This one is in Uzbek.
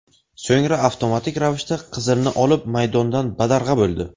So‘ngra avtomatik ravishda qizilni olib, maydondan badarg‘a bo‘ldi.